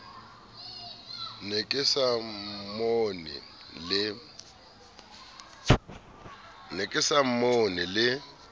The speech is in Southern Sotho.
ne ke sa mmone le